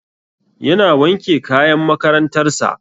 Yana wanke kayan makarantar sa